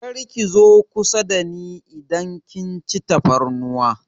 Kar ki zo kusa dani idan kin ci tafarnuwa!